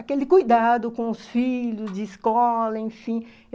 aquele cuidado com os filhos, de escola, enfim.